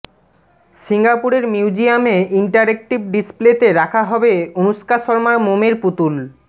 সিঙ্গাপুরের মিউজিয়ামে ইন্টারেকটিভ ডিসপ্লেতে রাখা হবে অনুষ্কা শর্মার মোমের পুতুল